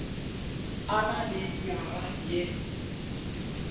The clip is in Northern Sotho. a na le nywaga ye